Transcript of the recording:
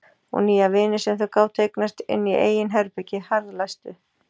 Og nýja vini sem þau gátu eignast inni í eigin herbergi, harðlæstu.